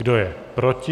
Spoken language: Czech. Kdo je proti?